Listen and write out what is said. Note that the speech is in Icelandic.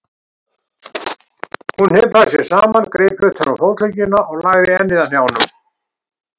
Hún hnipraði sig saman, greip utan um fótleggina og lagði ennið að hnjánum.